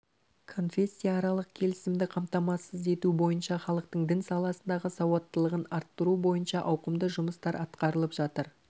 конфессияаралық келісімді қамтамасыз ету бойынша халықтың дін саласындағы сауаттылығын арттыру бойынша ауқымды жұмыстар атқарылып жатыр